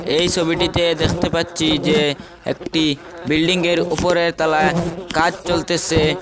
এই ছবিটিতে দেখতে পাচ্ছি যে একটি বিল্ডিংয়ের উপরের তলায় কাজ চলতেছে।